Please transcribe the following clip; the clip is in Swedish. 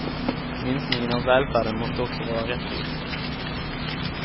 Minskningen av välfärden måste också vara rättvis.